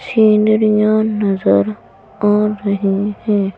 scene--